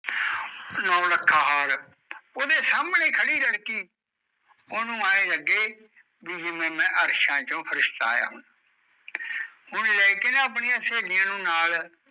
ਨੋ ਲੱਖਾਂ ਹਰ ਉਦੇ ਸਣੇ ਖੜੀ ਲੜਕੀ ਉਣੋ ਆ ਲਗੇ ਵਯੀ ਮਈ ਅਰਸ਼ਾ ਚੋ ਫਰਿਸ਼ਤਾ ਆਯਾ ਹੋਵੇ